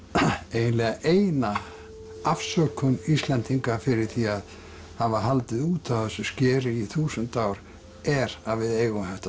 eiginlega eina afsökun Íslendinga fyrir því að hafa haldið út á þessu skeri í þúsund ár er að við eigum þetta